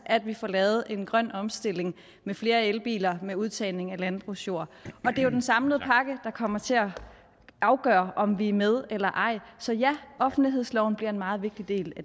at vi får lavet en grøn omstilling med flere elbiler og med udtagning af landbrugsjord det er jo den samlede pakke der kommer til at afgøre om vi er med eller ej så ja offentlighedsloven bliver en meget vigtig del